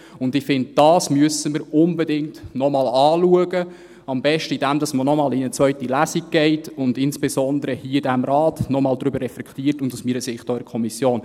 Ich finde, dies müssen wir unbedingt noch einmal anschauen, am besten, indem man noch einmal in eine zweite Lesung geht und insbesondere hier in diesem Rat und aus meiner Sicht auch in der Kommission noch einmal darüber reflektiert.